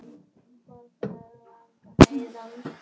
Hvað er langt héðan?